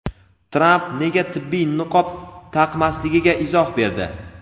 Tramp nega tibbiy niqob taqmasligiga izoh berdi.